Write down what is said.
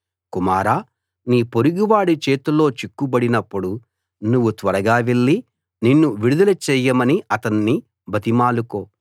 కుమారా నీ పొరుగువాడి చేతిలో చిక్కుబడినప్పుడు నువ్వు త్వరగా వెళ్లి నిన్ను విడుదల చేయమని అతణ్ణి బతిమాలుకో